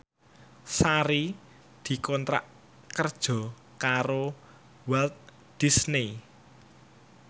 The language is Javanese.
Sari dikontrak kerja karo Walt Disney